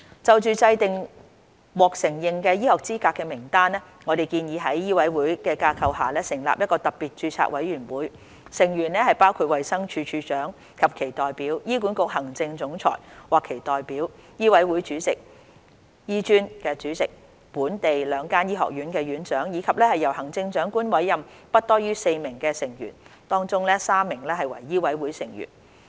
就制訂獲承認醫學資格的名單，我們建議在醫委會的架構下成立一個特別註冊委員會，成員包括衞生署署長或其代表、醫管局行政總裁或其代表、醫委會主席、醫專主席、本地兩間醫學院院長，以及由行政長官委任的不多於4名成員，當中3名為醫委會成員。